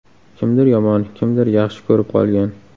Kimdir yomon, kimdir yaxshi ko‘rib qolgan.